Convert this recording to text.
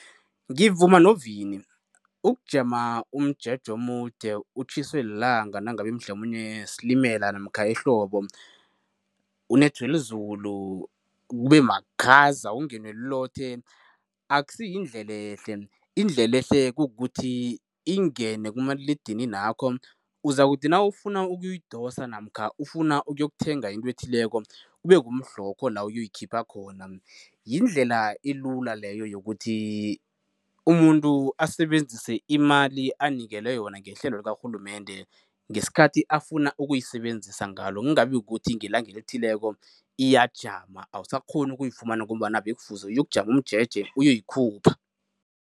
Ngivuma noVini, ukujama umjeje omude utjhiswe lilanga nangabe mhlamunye silimela namkha ehlobo, unethwe lizulu, kube makhaza, ungenwe lilothe, akusiyindlelehle. Indlelehle kukuthi ingene kumaliledininakho, uzakuthi nawufuna ukuyidosa namkha ufuna ukuyokuthenga into ethileko, kube kumhlokho la uyoyikhipha khona. Yindlela elula leyo yokuthi umuntu asebenzise imali anikelwe yona ngehlelo lakarhulumende ngesikhathi afuna ukuyisebenzisa ngalo, kungabi kukuthi ngelanga elithileko iyajama, awusakghoni ukuyifumana ngombana bekufuze uyokujama umjeje, uyokuyikhupha.